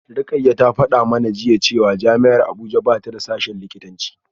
Rukayyah ta fada mana jiya cewa jami’ar Abuja ba ta da sashen likitanci